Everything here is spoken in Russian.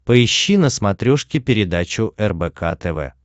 поищи на смотрешке передачу рбк тв